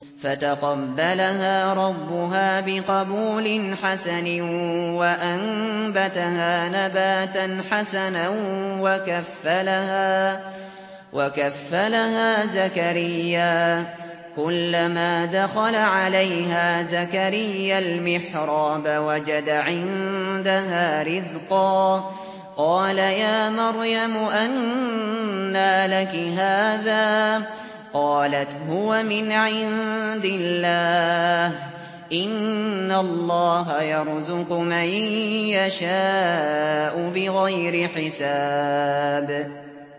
فَتَقَبَّلَهَا رَبُّهَا بِقَبُولٍ حَسَنٍ وَأَنبَتَهَا نَبَاتًا حَسَنًا وَكَفَّلَهَا زَكَرِيَّا ۖ كُلَّمَا دَخَلَ عَلَيْهَا زَكَرِيَّا الْمِحْرَابَ وَجَدَ عِندَهَا رِزْقًا ۖ قَالَ يَا مَرْيَمُ أَنَّىٰ لَكِ هَٰذَا ۖ قَالَتْ هُوَ مِنْ عِندِ اللَّهِ ۖ إِنَّ اللَّهَ يَرْزُقُ مَن يَشَاءُ بِغَيْرِ حِسَابٍ